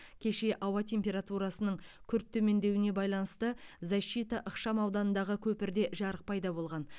кеше ауа температурасының күрт төмендеуіне байланысты защита ықшам ауданындағы көпірде жарық пайда болған